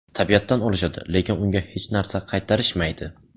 Tabiatdan olishadi, lekin unga hech narsa qaytarishmaydi.